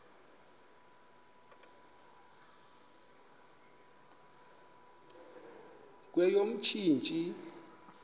kweyomntsintsi